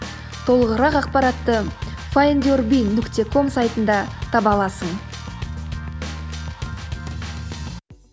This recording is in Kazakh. толығырақ ақпаратты файндюрби нүкте ком сайтында таба аласың